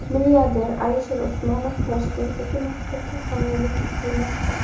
Milliarder Alisher Usmonov Toshkentdagi maktabga homiylik qilmoqda.